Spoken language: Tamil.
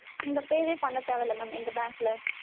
நீங்க pay வே பண்ண தேவ இல்ல mam எங்க bank ல